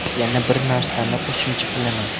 Yana bir narsani qo‘shimcha qilaman.